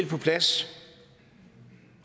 på plads